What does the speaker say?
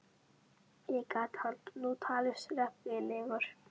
Ekki gat hann nú talist reffilegur.